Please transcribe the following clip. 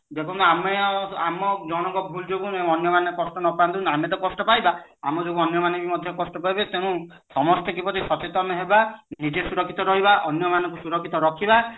ଏବଂ ଆମେ ଆଉ ଜଣଙ୍କ ଭୁଲ ଯୋଗୁ ଅନ୍ୟମାନେ କଷ୍ଟ ନ ପାନ୍ତୁ ଆମେ ବି କଷ୍ଟ ପାଇବା ଆମ ଯୋଗୁ ଅନ୍ୟମାନେ ବି ମଧ୍ୟ କଷ୍ଟ ପାଇବେ ତେଣୁ ସମସ୍ତେ କିପରି ସଚେତନ ହେବା ନିଜେ ସୁରକ୍ଷିତ ରହିବ ଅନ୍ୟ ମାନଙ୍କୁ ସୁରକ୍ଷିତ ରଖିବା